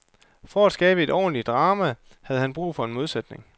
For at skabe et ordentligt drama havde han brug for en modsætning.